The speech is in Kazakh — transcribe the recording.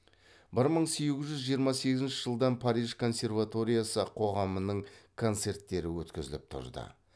бір мың сегіз жүз жиырма сегізінші жылдан париж консерваториясы қоғамының концерттері өткізіліп тұрды